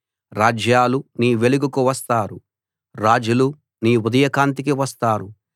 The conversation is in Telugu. రాజ్యాలు నీ వెలుగుకు వస్తారు రాజులు నీ ఉదయకాంతికి వస్తారు